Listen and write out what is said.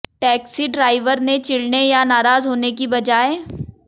taxi driver ने चिढ़ने या नाराज होने की बजाय